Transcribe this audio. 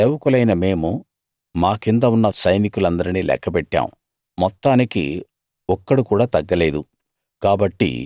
నీ సేవకులైన మేము మా కింద ఉన్న సైనికులందరినీ లెక్కపెట్టాం మొత్తానికి ఒక్కడు కూడా తగ్గలేదు